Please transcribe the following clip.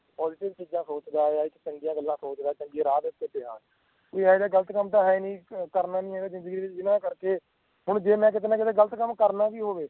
positive ਚੀਜ਼ਾਂ ਸੋਚਦਾ ਆ ਚੰਗੀਆਂ ਗੱਲਾਂ ਸੋਚਦਾ ਆ ਵੀ ਚੰਗੇ ਰਾਹ ਉੱਤੇ ਪਿਆ ਆ ਕਿ ਇਹ ਤਾਂ ਗਲਤ ਕੰਮ ਤਾਂ ਹੈਨੀ ਕਰਨਾ ਨੀ ਹੈਗਾ ਜਿੰਦਗੀ ਦੇ ਵਿਚ ਜਿਹਨਾਂ ਕਰਕੇ ਹੁਣ ਜੇ ਮੈਂ ਕੀਤੇ ਨਾ ਕੀਤੇ ਗਲਤ ਕੰਮ ਕਰਨਾ ਵੀ ਹੋਵੇ